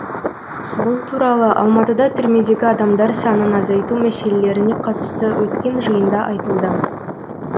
бұл туралы алматыда түрмедегі адамдар санын азайту мәселелеріне қатысты өткен жиында айтылды